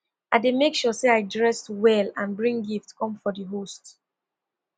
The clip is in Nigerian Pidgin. i dey make sure say i dress well and and bring gift come for di host